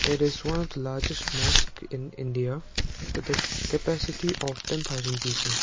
there is one of the largest mosque in india with a capacity of ten thousand people.